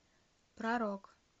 про рок